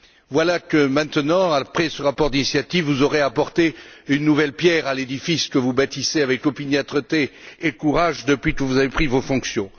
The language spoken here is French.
Voilà que, maintenant, après ce rapport d'initiative, vous aurez apporté une nouvelle pierre à l'édifice que vous bâtissez avec opiniâtreté et courage depuis que vous avez pris vos fonctions.